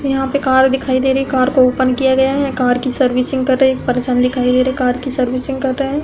यहाँ पे कार दिखाई दे रही है। कार को ओपन किया गया है। कार की सर्विसिंग कर रहे एक पर्सन दिखाई दे रहे हैं। कार की सर्विसिंग कर रहे हैं।